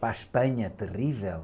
Para a Espanha, terrível.